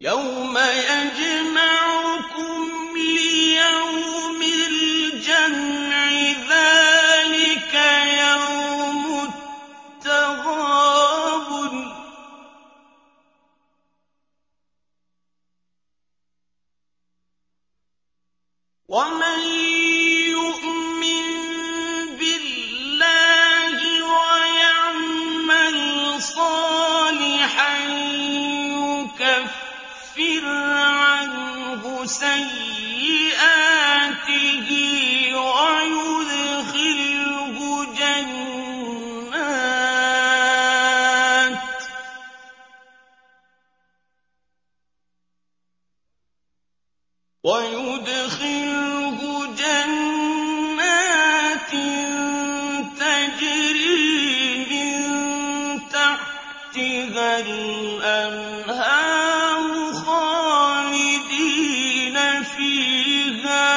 يَوْمَ يَجْمَعُكُمْ لِيَوْمِ الْجَمْعِ ۖ ذَٰلِكَ يَوْمُ التَّغَابُنِ ۗ وَمَن يُؤْمِن بِاللَّهِ وَيَعْمَلْ صَالِحًا يُكَفِّرْ عَنْهُ سَيِّئَاتِهِ وَيُدْخِلْهُ جَنَّاتٍ تَجْرِي مِن تَحْتِهَا الْأَنْهَارُ خَالِدِينَ فِيهَا